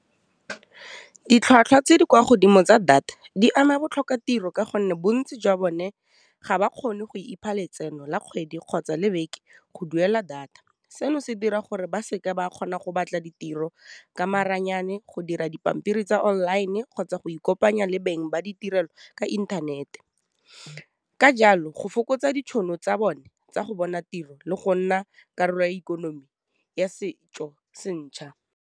Ditlhwatlhwa tse di kwa godimo tsa data di ama botlhokatiro ka gonne bontsi jwa bone ga ba kgone go ipha letseno la kgwedi kgotsa le beke go duela data, seno se dira gore ba seke ba kgona go batla ditiro ka maranyane, go dira dipampiri tsa online, kgotsa go ikopanya le beng ba ditirelo ka inthanete, ka jalo go fokotsa ditšhono tsa bone tsa go bona tiro le go nna karolo ya ikonomi ya setso se ntšha.